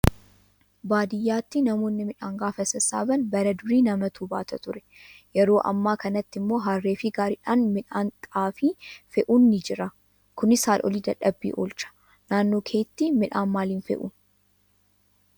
Baadiyyaatti namoonni midhaan gaafa sassaaban bara durii namatuu baata ture yeroo ammaa kanatti immoo harree fi gaariidhaan midhaan xaafii fe'uun ni Jira. Kunis haadholii dadhabbii oolcha. Naannoo keetti midhaan maaliin fe'uun?